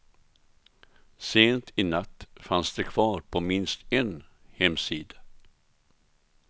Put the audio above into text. Sent i natt fanns de kvar på minst en hemsida.